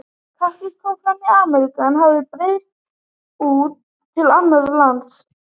Kaktusar koma frá Ameríku en hafa breiðst þaðan út til annarra landa.